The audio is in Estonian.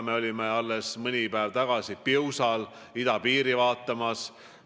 Me olime alles mõni päev tagasi Piusal idapiiri vaatamas.